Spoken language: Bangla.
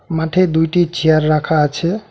মাঠে দুইটি চেয়ার রাখা আছে।